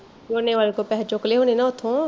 ਝੋਨੇ ਵਾਲੇ ਕੋਲੋਂ ਪੈਸੇ ਚੁੱਕ ਲੈ ਹੁਣੇ ਨਾ ਉੱਥੋਂ